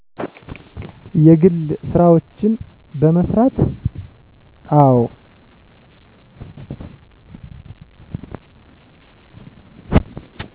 የግል ስራዎችን በመስራት። አዎ